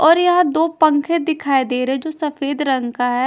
और यहा दो पंखे दिखाई दे रहे जो सफेद रंग का है।